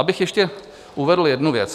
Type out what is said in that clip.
Abych ještě uvedl jednu věc.